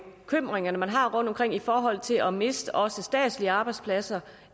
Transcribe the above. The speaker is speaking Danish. bekymringer man har rundtomkring i forhold til at miste også statslige arbejdspladser